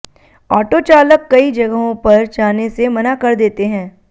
auto चालक कई जगहों पर जाने से मना कर देते हैं